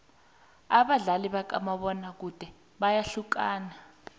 abadlali bakamabona kude bayahlukana